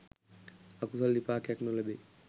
අකුසල් විපාකයක් නොලැබේ